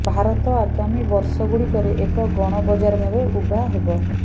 ଭାରତ ଆଗାମୀ ବର୍ଷଗୁଡ଼ିକରେ ଏକ ଗଣ ବଜାର ଭାବେ ଉଭା ହେବ